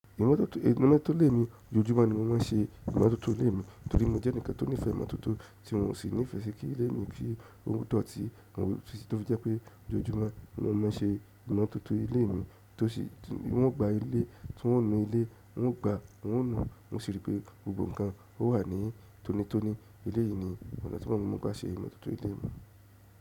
Imọ́tótó ilé mi, ojoojúmọ́ ni wọ́n má ń se ìmọ́tótó ilé mi torí mo jẹ́ ẹnìkan tó nífẹ̀ẹ́ ìmọ́tótó tí wọn ò sì nífẹ̀ẹ́ ṣe kí ilé mi rí ohun tó ti, wọ́n sì tọ́ ju pé ojoojúmọ́ ni wọ́n ma ń se ìmọ́tótó ilé mi, tó sì tí wọ́n gba ilé tí wọ́n ń nu ilé, wọ́n ń gba, wọ́n ń nu, mo sì rí pé gbogbo nǹkan ó wà ní tónítóní ilé yìí nìyí, ọ̀nà tí gbá má ń gba ṣe ìmọ́tótó ilé mi.